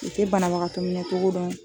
U tɛ banabagatɔ minɛ cogo dɔn.